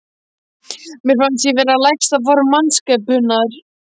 Mér fannst ég vera lægsta form mannskepnunnar.